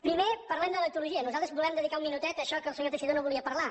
primer parlem de l’etologia nosaltres volem dedicar un minutet a això que el senyor teixidó no volia parlar